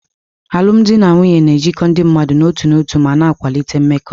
Alụmdi na nwunye na-ejikọ ndị mmadụ n'otu n'otu ma na-akwalite mmekọ.